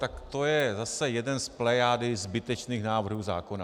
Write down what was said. Tak to je zase jeden z plejády zbytečných návrhů zákona.